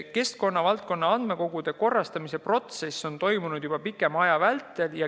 Keskkonnavaldkonna andmekogude korrastamise protsess on toimunud juba pikema aja vältel.